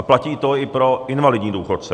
A platí to i pro invalidní důchodce.